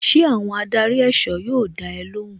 Ṣé àwọn adarí èsọ́ yóò dá ẹ lóhùn?